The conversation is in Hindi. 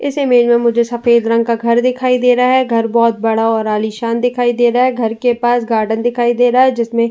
इस इमेज में मुझे सफ़ेद रंग का घर दिखाई दे रहा है। घर बोहोत बड़ा और आलिशान दिखाई दे रहा है। घर के पास गार्डन दिखाई दे रहा है जिसमे --